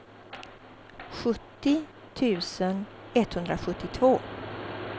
sjuttio tusen etthundrasjuttiotvå